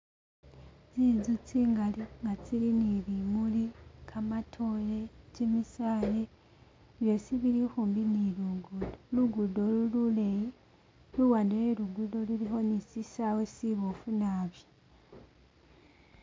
Tsintsu tsingali nga tsili ni bimuli, kamatore, kimisaye, byosi bilikhumbi ni lugudo lugudo ulu luleyi luwande we lugudo lulikho ni shi sawe shibpfu naabi.